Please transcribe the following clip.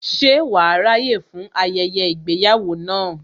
Ṣe wàá ráyè fún ayẹyẹ ìgbéyàwó náà